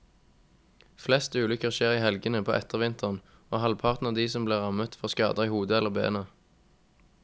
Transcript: Flest ulykker skjer i helgene på ettervinteren, og halvparten av de som blir rammet får skader i hodet eller beina.